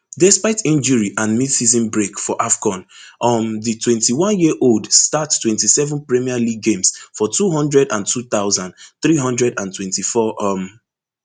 despite injury and midseason break for afcon um di twenty-oneyearold start twenty-seven premier league games for two hundred and two thousand, three hundred and twenty-four um